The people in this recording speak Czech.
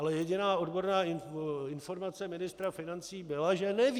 Ale jediná odborná informace ministra financí byla, že neví.